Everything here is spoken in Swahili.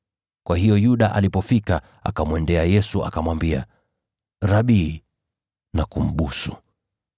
Mara Yuda akamjia Yesu na kusema, “Rabi.” Akambusu.